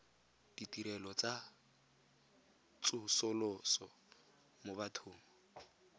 ditirelo tsa tsosoloso mo bathong